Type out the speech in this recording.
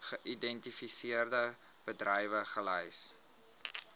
geïdentifiseerde bedrywe gelys